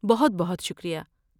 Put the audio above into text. بہت بہت شکریہ۔